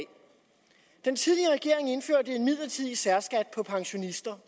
den tidligere regering indførte en midlertidig særskat for pensionister